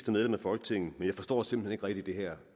medlem af folketinget men jeg forstår simpelt hen ikke rigtig det her